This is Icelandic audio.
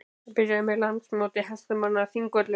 Það byrjaði með Landsmóti hestamanna á Þingvöllum.